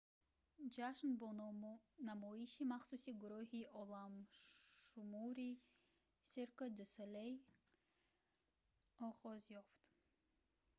ҷашн бо намоиши махсуси гурӯҳи оламшумури cirque du soleil оғоз ёфт